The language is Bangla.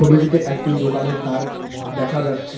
ছবিটিতে একটি দোকানের তার্ক দেখা যাচ্ছে।